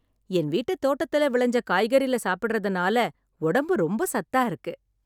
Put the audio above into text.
என் வீட்டு தோட்டத்துல விளைஞ்ச காய்கறில சாப்பிடறதுனால, உடம்பு ரொம்ப சத்தா இருக்கு.